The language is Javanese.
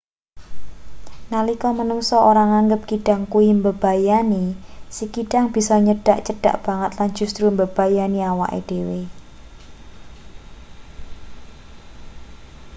nalika manungsa ora nganggep kidang kuwi mbebayani si kidang bisa nyedhak cedhak banget lan justru mbebayani awake dhewe